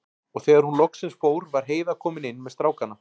Og þegar hún loksins fór var Heiða komin inn með strákana.